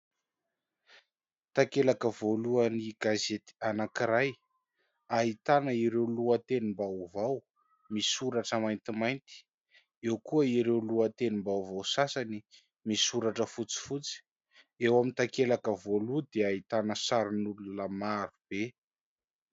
Takelaka voalohany gazety anankiray ahitana ireo lohatenim-baovao misoratra maintimainty, eo koa ireo lohatenim-baovao sasany misoratra fotsifotsy eo amin'ny takelaka voalohany dia ahitana sarin'olona maro be.